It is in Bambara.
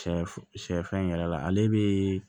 Sɛfu sɛfan in yɛrɛ la ale be